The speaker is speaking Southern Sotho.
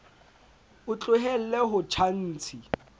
o tlohelle ho tjha ntshi